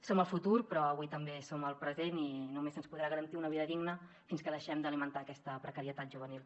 som el futur però avui també som el present i només se’ns podrà garantir una vida digna quan deixem d’alimentar aquesta precarietat juvenil